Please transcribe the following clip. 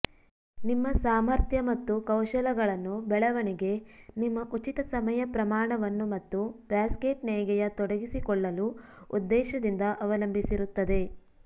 ನಿಮ್ಮ ಸಾಮರ್ಥ್ಯ ಮತ್ತು ಕೌಶಲಗಳನ್ನು ಬೆಳವಣಿಗೆ ನಿಮ್ಮ ಉಚಿತ ಸಮಯ ಪ್ರಮಾಣವನ್ನು ಮತ್ತು ಬ್ಯಾಸ್ಕೆಟ್ ನೇಯ್ಗೆಯ ತೊಡಗಿಸಿಕೊಳ್ಳಲು ಉದ್ದೇಶದಿಂದ ಅವಲಂಬಿಸಿರುತ್ತದೆ